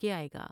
کے آۓ گا ۔